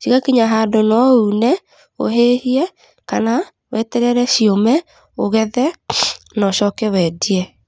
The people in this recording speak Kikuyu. cigakinya handũ no une, ũhĩhie, kana weterere ciũme, ũgethe na ũcoke wendie.